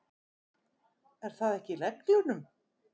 Er það ekki í reglunum?